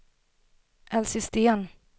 Elsie Sten